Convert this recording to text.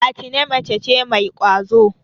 Atine mace ce mai ƙwazo.